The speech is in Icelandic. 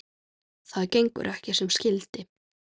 Það gengur ekki sem skyldi.